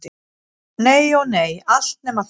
Nei- ó nei, allt nema það.